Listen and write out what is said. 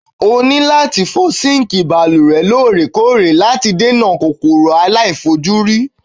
O ní láti fọ síǹkì balùwẹ̀ lóòrèkóòrè láti dènà kòkòrò àìlèfojúrí.